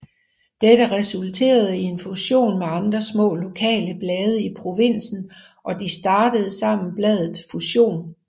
Dette resulterede i en fusion med andre små lokale blade i provinsen og de startede sammen bladet Fusion